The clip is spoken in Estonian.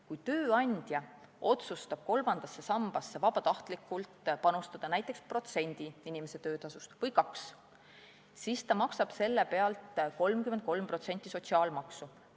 Kui tööandja otsustab kolmandasse sambasse vabatahtlikult panustada näiteks protsendi või kaks inimese töötasust, siis ta maksab selle pealt 33% sotsiaalmaksu.